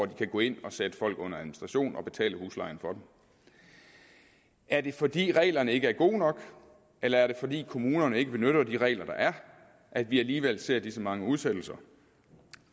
de kan gå ind og sætte folk under administration og betale huslejen for dem er det fordi reglerne ikke er gode nok eller er det fordi kommunerne ikke benytter de regler der er at vi alligevel ser disse mange udsættelser